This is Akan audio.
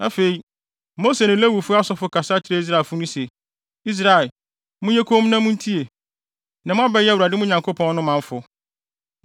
Afei, Mose ne Lewifo asɔfo kasa kyerɛɛ Israelfo no se, “Israel, monyɛ komm na muntie! Nnɛ, moabɛyɛ Awurade, mo Nyankopɔn no, manfo.